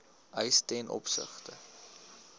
eis ten opsigte